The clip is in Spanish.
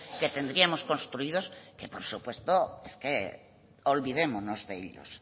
que tendríamos construidos que por supuesto es que olvidémonos de ellos